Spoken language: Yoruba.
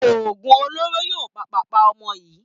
OÒgùn olóró yóò pàpà pa ọmọ yìí.